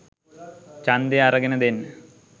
ඡන්දය අරගෙන දෙන්න